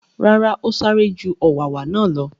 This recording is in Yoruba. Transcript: Rárá, ó sáré ju u ọ̀wàwà náà lọ.